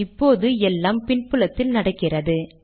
இப்போது எல்லாம் பின் புலத்தில் நடக்கிறது